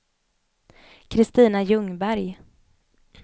Christina Ljungberg